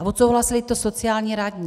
A odsouhlasili to sociální radní.